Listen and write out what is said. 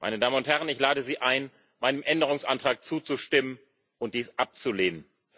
Meine Damen und Herren, ich lade Sie ein, meinem Änderungsantrag zuzustimmen und dies abzulehnen.